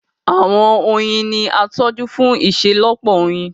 Àwọn oyin ní a tójú fún iṣelọpọ oyin.